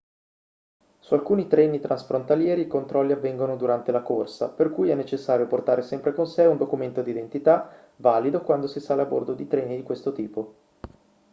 su alcuni treni transfrontalieri i controlli avvengono durante la corsa per cui è necessario portare sempre con sé un documento d'identità valido quando si sale a bordo di treni di questo tipo